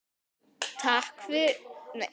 Tveir fyrir einn.